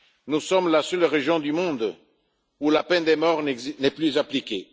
Nous sommes la seule région du monde où la peine de mort n'est plus appliquée.